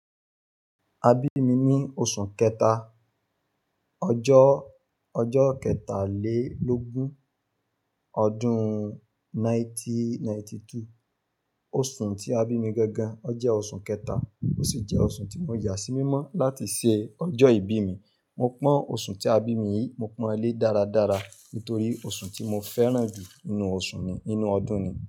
Abími ní oṣù kẹta, ọjọ́, ọjọ́ kẹtàlélógún, ọdún 1992. Oṣù tí a bí mi gangan, ó jẹ́ oṣù kẹta ó sì jẹ́ oṣù tí mo yà sí mímọ́ láti ṣe ọjọ́ ìbí mi. Mo pọ́n oṣù tí a bí mi yìí, mo pọ́n ẹ̀ lé dáradára nítorí oṣù tí mo fẹ́ràn jù nínú oṣù mi nínú ọdún ni.